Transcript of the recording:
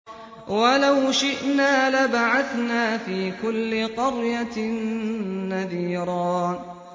وَلَوْ شِئْنَا لَبَعَثْنَا فِي كُلِّ قَرْيَةٍ نَّذِيرًا